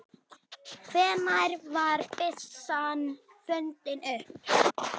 Hvenær var byssan fundin upp?